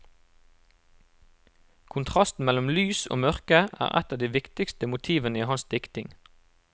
Kontrasten mellom lys og mørke er et av de viktigste motivene i hans dikting.